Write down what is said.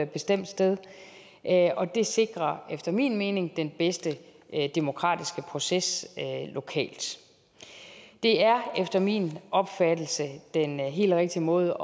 bestemt sted og det sikrer efter min mening den bedste demokratiske proces lokalt det er efter min opfattelse den helt rigtige måde